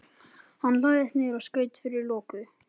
Hann lagðist niður og skaut fyrir loku.